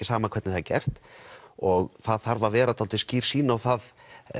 sama hvernig það er gert og það þarf að vera dálítið skýr sýn á það